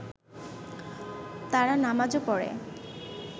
তারা নামাজও পড়ে